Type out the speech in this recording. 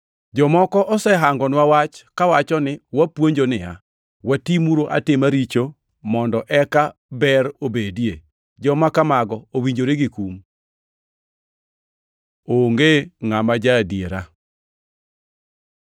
Jomoko osehangonwa wach kawacho ni wapuonjo niya, “Watimuru atima richo mondo eka ber obedie?” Joma kamago owinjore gi kum! Onge ngʼama ja-adiera